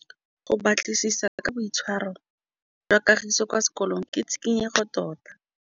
Go batlisisa ka boitshwaro jwa Kagiso kwa sekolong ke tshikinyêgô tota.